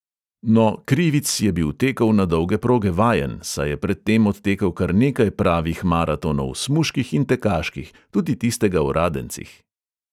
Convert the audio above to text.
No, krivic je bil tekov na dolge proge vajen, saj je pred tem odtekel kar nekaj pravih maratonov, smuških in tekaških, tudi tistega v radencih.